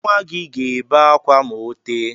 Nwa gị ga-ebe akwa ma ọ tee.